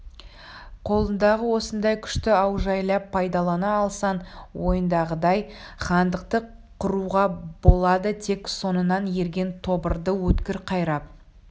қолыңдағы осындай күшті аужайлап пайдалана алсаң ойыңдағыдай хандықты құруға болады тек соңыңнан ерген тобырды өткір қайрап